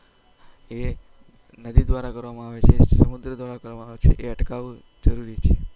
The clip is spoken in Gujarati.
એ નદી દ્વારા કરવામાં આવે છે સમુદ્ર દ્વારા કરવામાં આવે છે એઅટકાવવું જરૂરી છે